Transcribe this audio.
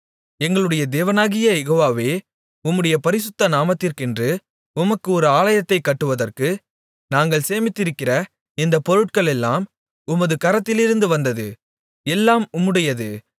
எங்களுடைய தேவனாகிய யெகோவாவே உம்முடைய பரிசுத்த நாமத்திற்கென்று உமக்கு ஒரு ஆலயத்தைக் கட்டுவதற்கு நாங்கள் சேமித்திருக்கிற இந்தப் பொருட்களெல்லாம் உமது கரத்திலிருந்து வந்தது எல்லாம் உம்முடையது